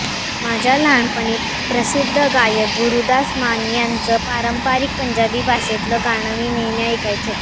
माझ्या लहानपणी प्रसिद्ध गायक गुरुदास मान यांचं पारंपरिक पंजाबी भाषेतलं गाणं मी नेहमी ऐकायचे